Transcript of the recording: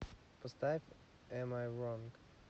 поставь эм ай ронг